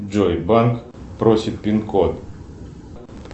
джой банк просит пин код